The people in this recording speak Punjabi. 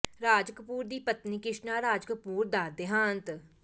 ਰਾਜ ਕਪੂਰ ਦੀ ਪਤਨੀ ਕ੍ਰਿਸ਼ਣਾ ਰਾਜ ਕਪੂਰ ਦਾ ਦਿਹਾਂਤ